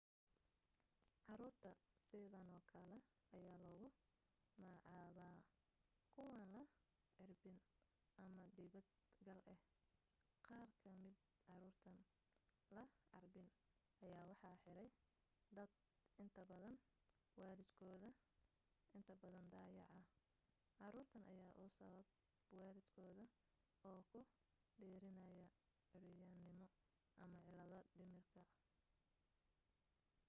caruurta sidano kala ayaa lagu macaaba kuwaan la carbin ama dibad gal ah. qaar ka mida caruurtan la carbin ayaa waxaa xiray dadka inta badan waalidkood; inta badan dayaca caruurtan ayaa usababa waalidkooda oo ku deerinaya cuuryannimo ama cillado dhimirka